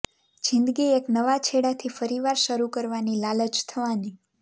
જિંદગી એક નવા છેડાથી ફરીવાર શરૂ કરવાની લાલચ થવાની